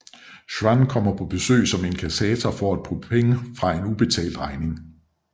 Schwann kommer på besøg som inkassator for at få penge for en ubetalt regning